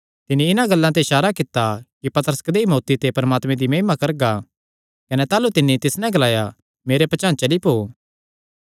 तिन्नी इन्हां गल्लां ते इसारा कित्ता कि पतरस कदेई मौत्ती ते परमात्मे दी महिमा करगा कने ताह़लू तिन्नी तिस नैं ग्लाया मेरे पचांह़ चली पौ